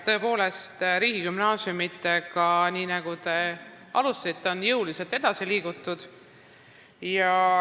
Tõepoolest, riigigümnaasiumidega, nii nagu te ka oma küsimust alustasite, on jõuliselt edasi liigutud.